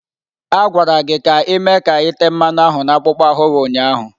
A gwara gị ka ị mee ka ite mmanu ahu na akpụkpọ ahụ gị ụnyahụ!